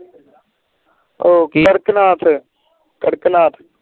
ਉਹ ਕਾਰਕਨਾਥ ਕਾਰਕਨਾਥ